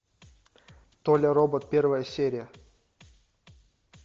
толя робот первая серия